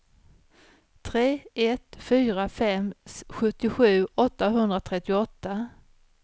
tre ett fyra fem sjuttiosju åttahundratrettioåtta